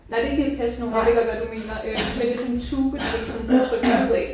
Nej det er ikke de der Pez nogen jeg ved godt hvad du mener øh men det er sådan en tube du ligesom kan trykke dem ud af